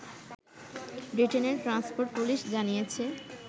ব্রিটেনের transport police জানিয়েছে